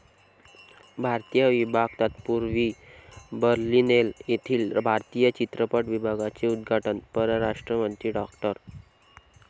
भारतीय विभाग तत्पूर्वी, बर्लिनेल येथील भारतीय चित्रपट विभागाचे उद्घाटन परराष्ट्रमंत्री डॉ.